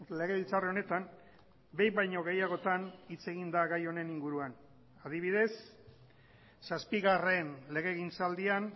legebiltzar honetan behin baino gehiagotan hitz egin da gai honen inguruan adibidez zazpigarren legegintzaldian